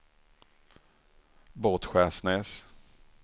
Båtskärsnäs